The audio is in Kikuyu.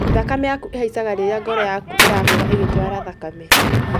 Thakame yaku ĩhaicaga rĩrĩa ngoro yaku ĩrahũra ĩgĩtwara thakame